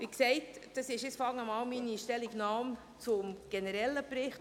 Wie gesagt, dies ist meine Stellungnahme zum generellen Bericht.